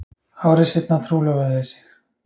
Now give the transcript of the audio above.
Ári seinna trúlofuðu þau sig